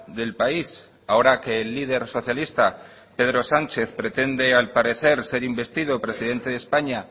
del país ahora que el líder socialista pedro sánchez pretende al parecer ser investido presidente de españa